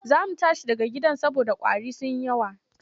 Za mu tashi daga gidan saboda ƙwari sun yi yawa.